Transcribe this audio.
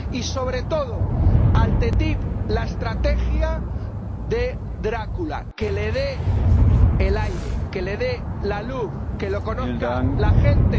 Y, sobre todo, a la ATCI, la estrategia de Drácula que le dé el aire, que le dé la luz, que lo conozca la gente.